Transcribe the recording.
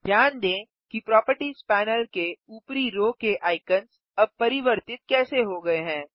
ध्यान दें कि प्रोपर्टीज़ पैनल के उपरी रो के आइकन्स अब परिवर्तित कैसे हो गये हैं